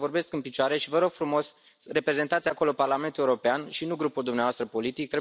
Uitați, eu vorbesc în picioare și vă rog frumos, reprezentați acolo Parlamentul European și nu grupul dumneavoastră politic.